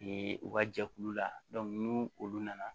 u ka jɛkulu la ni olu nana